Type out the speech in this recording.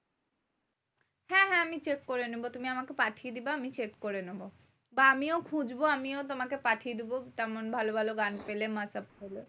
হ্যাঁ হ্যাঁ আমি check করে নেবো। তুমি আমাকে পাঠিয়ে দিবা আমি check করে নেবো। বা আমিও খুঁজবো আমিও তোমাকে পাঠিয়ে দেব। তেমন ভালো ভালো গান পেলে, mashup পেলে।